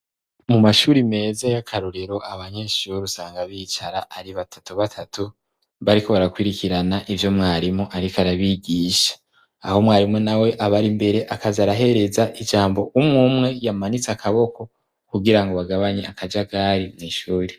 Mu mashure meza y'akarorero, abanyeshure usanga bicara ari batatu batatu bariko barakurikirana ivyo mwarimu ariko arabigisha, aho umwarimu nawe aba ari imbere akaza arahereza ijambo umwe umwe yamanitse akaboko kugira ngo agabanye akajagari mw'ishure.